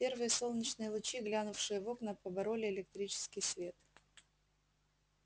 первые солнечные лучи глянувшие в окна побороли электрический свет